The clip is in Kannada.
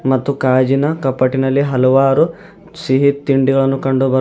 ಮತ್ತು ಗಾಜಿನ ಕಪಾಟಿನಲ್ಲಿ ಹಲವಾರು ಸಿಹಿ ತಿಂಡಿಗಳನ್ನು ಕಂಡುಬರು--